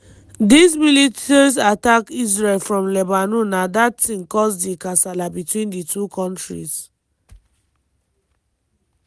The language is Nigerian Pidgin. diz militias attack israel from lebanon na dat tin cause di kasala between di two kontris.